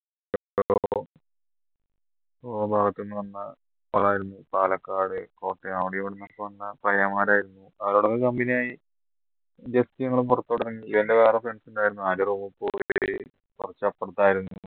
ഓരോ ഭാഗത്തുന്ന് വന്ന പാലക്കാട് കോട്ടയം അവിടെ എവിടുന്നൊക്കെ വന്ന പയ്യന്മാർ ആയിരുന്നു അവരോടൊക്കെ company ആയി just ഞങ്ങള പുറത്തോട്ട് ഇറങ്ങി ഇവൻറെ വേറെ friends ഉണ്ടായിരുന്നു കുറച്ച് അപ്പുറത്തായിരുന്നു